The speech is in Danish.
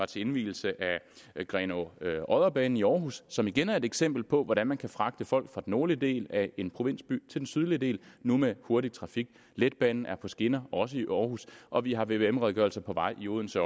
til indvielsen af grenaa odder banen i aarhus som igen er et eksempel på hvordan man kan fragte folk fra den nordlige del af en provinsby til den sydlige del nu med hurtig trafik letbanen er på skinner også i aarhus og vi har vvm redegørelser på vej i odense